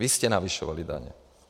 Vy jste navyšovali daně.